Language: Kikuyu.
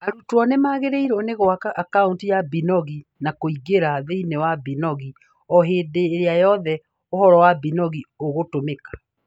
Arutwo nĩ magĩrĩirwo nĩ gwaka akaunti ya Binogi na kũingĩra thĩinĩ wa Binogi o hĩndĩ ĩrĩa yothe ũhoro wa Binogi ũgũtumĩka